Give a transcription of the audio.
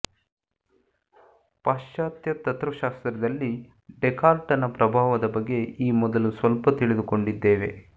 ಪಾಶ್ಚಾತ್ಯ ತತ್ತ್ವಶಾಸ್ತ್ರದಲ್ಲಿ ಡೇಕಾರ್ಟನ ಪ್ರಭಾವದ ಬಗ್ಗೆ ಈ ಮೊದಲು ಸ್ವಲ್ಪ ತಿಳಿದುಕೊಂಡಿದ್ದೇವೆ